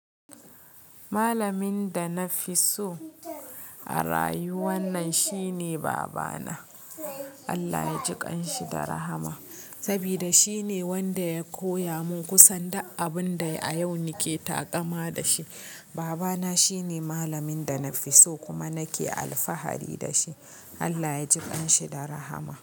Malamin da na fi so a rayuwannan shine babana. Allah ya ji ƙan shi da rahama, saboda shine wanda ya koya mun kusan duk abinda a yau nake takama da shi. Babana shine malamin da na fi so kuma nake alfahari da shi. Allah ya ji ƙan shi da rahama.